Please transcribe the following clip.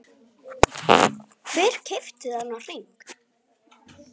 Hver keypti þennan hring?